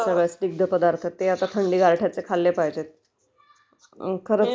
हम्म...खरचं आहे असे स्निग्ध पदार्थ थंडी गारठ्याचं खाल्ले पाहिजे...